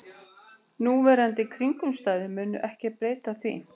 Núverandi kringumstæður munu ekki breyta því